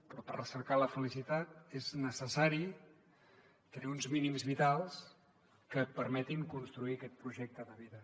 però per recercar la felicitat és necessari tenir uns mínims vitals que permetin construir aquest projecte de vida